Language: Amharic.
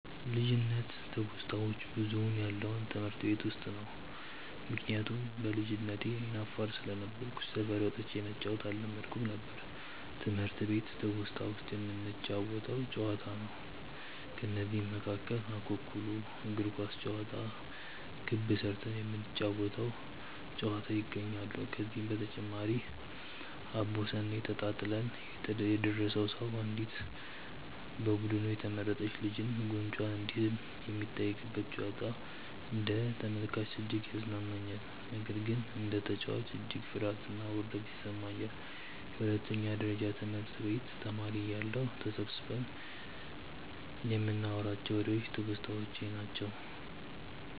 ልጅነት ትውስታዋች ብዙውን ያለው ትምህርት ቤት ውስጥ ነው። ምክንያቱም በልጅነቴ አይነ አፋር ስለነበርኩ ሰፈር ወጥቼ መጫዎትን አለመድኩም ነበር። ትምህርት ቤት ትውስታ ውስጥ የምንጫወተው ጨዋታ ነው። ከነዚህም መካከል እኩኩሉ፣ እግር ኳስ ጨዋታ፣ ክብ ስርተን የምንጫወ ተው ጨዋታ ይገኛሉ። ከዚህ በተጨማሪም አቦሰኔ ተጣጥለን የደረሰው ሰው አንዲት በቡዱኑ የተመረጥች ልጅን ጉንጯን እንዲስም የሚጠየቅበት ጨዋታ አንደ ተመልካች እጅግ ያዝናናኛል። ነገር ግን እንደ ተጨዋች እጅግ ፍርሀትና ውርደት ይሰማኛል። የሁለተኛ ደረጀ ትምህርት ቤት ተማሪ እያለሁ ተሰብስበን ይንናዋራቸው ዎሬዎች ትውስታዎቼ ናቸው።